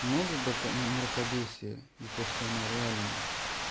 много брака на мракобесие это что она реальная